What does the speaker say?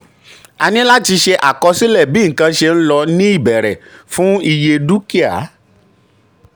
a ní láti ṣe àkọsílẹ̀ bí nǹkan ṣe ń lọ ní ìbẹ̀rẹ̀ fún iye dúkìá.